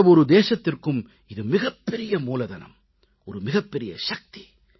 எந்த தேசத்திற்கும் இது மிகப்பெரிய மூலதனம் மிகப்பெரிய சக்தி